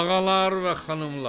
Ağalar və xanımlar!